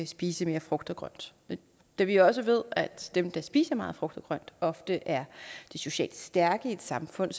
spise mere frugt og grønt da vi jo også ved at dem der spiser meget frugt og grønt ofte er de socialt stærke i et samfund